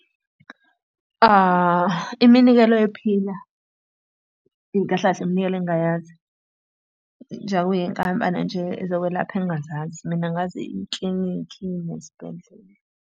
Iminikelo yephila, kahle kahle iminikelo engingayazi. Njengoba kuyinkampani nje zokwelapha engingazazi, mina ngazi iklinikhi nesibhedlela.